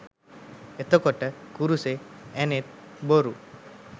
එතකොට කුරුසේ ඇණත් බොරු